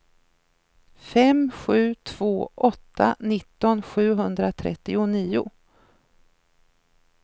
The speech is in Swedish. fem sju två åtta nitton sjuhundratrettionio